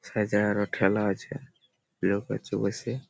Size -এ আরো ঠেলা আছে। লোক আছে বসে --